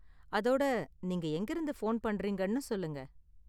அதோட, நீங்க எங்கிருந்து போன் பண்றீங்கன்னும் சொல்லுங்க?